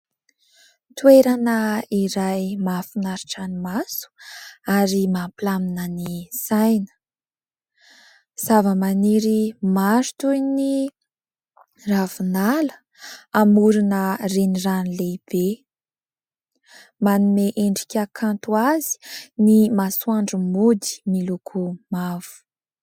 Toerana iray mahafanaritra ny maso ary mampilamina ny saina. Zavamaniry maro toy ny ravinala amorona renirano lehibe. Manome endrika kanto azy ny masoandro mody miloko mavo.